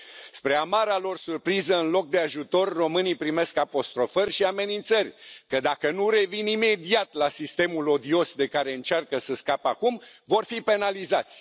Spre amara lor surpriză, în loc de ajutor, românii primesc apostrofări și amenințări că, dacă nu revin imediat la sistemul odios de care încearcă să scape acum, vor fi penalizați.